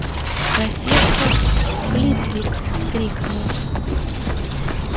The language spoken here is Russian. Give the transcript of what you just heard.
профессор флитвик вскрикнул